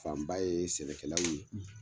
Fanba ye sɛnɛkɛlaw ye